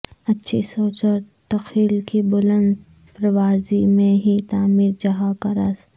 اچھی سوچ اور تخیل کی بلند پروازی میں ہی تعمیر جہاں کا راز